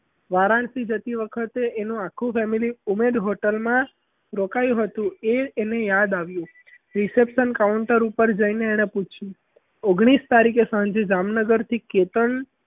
વારાણસી જતી વખતે એનું આખું family ઉમેદ hotel માં રોકાયું હતું એ એને યાદ આવ્યું reception counter ઉપર જઈને એણે પૂછ્યું ઓગણીસ તારીખે સાંજે જામનગર થી કેતન